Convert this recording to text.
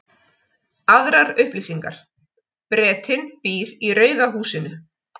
Aðrar upplýsingar: Bretinn býr í rauða húsinu.